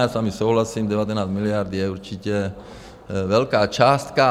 Já s vámi souhlasím, 19 miliard je určitě velká částka.